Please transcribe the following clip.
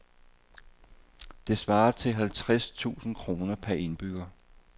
Det svarer til halvtreds tusind kroner per indbygger.